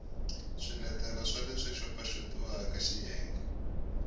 swiletelo swa leswi xopaxopiwaka xiyenge